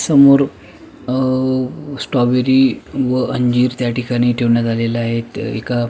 समोर अ स्ट्राबेरी व अंजीर त्या ठिकाणी ठेवण्यात आलेलं आहेत एका--